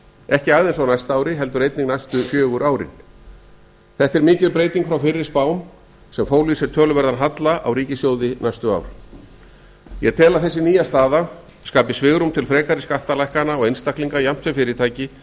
ekki aðeins á bæta ári heldur einnig næsta fjögur árin þetta er mikil breyting frá fyrri spám sem fólu í sér töluverðan halla á ríkissjóði næstu ár ég tel að þessi nýja staða skapi svigrúm til frekari skattalækkana á einstaklinga jafnt sem fyrirtæki